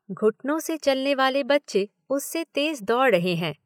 घुटनों से चलने वाले बच्चे उससे तेज दौड़ रहें हैं।